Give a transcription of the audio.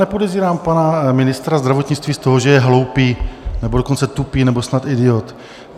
Nepodezírám pana ministra zdravotnictví z toho, že je hloupý, nebo dokonce tupý, nebo snad idiot.